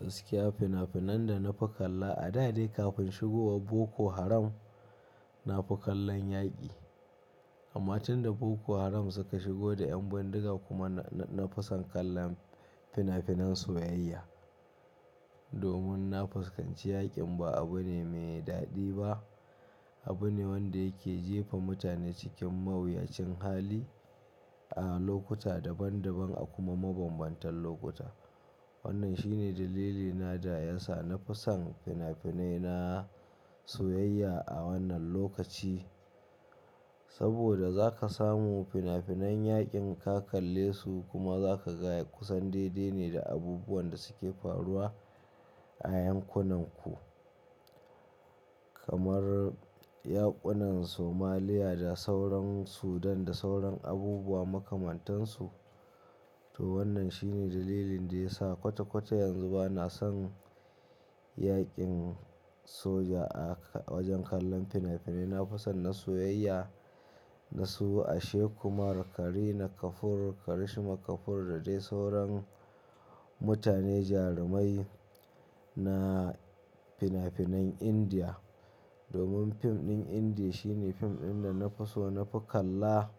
Gaskiya fina-finan da na fi kalla a da dai kafin shigowar Boko Haram, na fi kallon yaƙi. Amma tun da Boko Haram suka shigo da yan bindiga kuma na, na fi son kallon fina-finan soyayya. Domin na fuskanci yaƙin ba abu ne mai daɗi ba, abu ne wanda yake jefa mutane cikin mawuyacin hali a lokuta daban-daban a kuma mabambantan lokuta. Wannan shine dalilina da ya sa na fi son fina-finai na soyayya a wannan lokaci. Saboda za ka samu fina-finan yaƙin ka kalle su kuma za ka ga kusan daidai ne da abubuwan da suke faruwa a yankunanku. Kamar yaƙunan Somalia da sauran Sudan da sauran abubuwa makamantansu. To wannan shine dalilin da ya sa kwata-kwata yanzu ba na son yaƙin soja a wajen kallon fina-finai. Na fi son na soyayya, na so Ashe Kumar, Kareena Kapoor, Karishma Kapoor da dai sauran mutane jarumai na fina-finan Indiya. Domin fim ɗin Indiya shine fim ɗin da na fi so, na fi kalla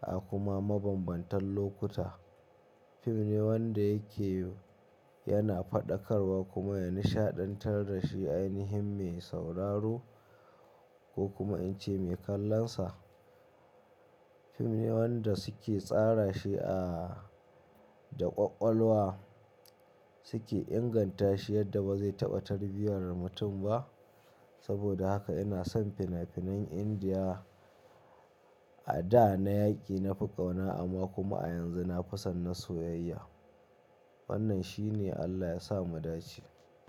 a kuma mabambantan lokuta. Fim ne wanda yake yana faɗakarwa kuma ya nishaɗantar da shi ainihin mai sauraro ko kuma in ce mai kallonsa. Fim ne wanda suke tsara shi a da ƙwaƙwalwa suke inganta shi yadda ba zai taɓa tarbiyar mutum ba. Saboda haka ina son fina-finan Indiya. A da na yaƙi, na fi ƙauna amma kuma a yanzu na fi son na soyayya. Wannan shine Allah ya sa mu dace.